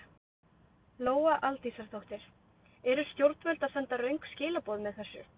Lóa Aldísardóttir: Eru stjórnvöld að senda röng skilaboð með þessu?